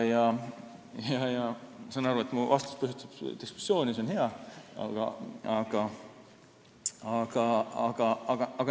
Ma saan aru, et mu vastus põhjustab diskussiooni – see on hea.